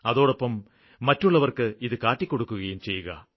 അതോടൊപ്പം മറ്റുള്ളവര്ക്ക് ഇത് കാട്ടിക്കൊടുക്കുയും ചെയ്യുക